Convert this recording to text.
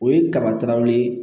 O ye kabataraw ye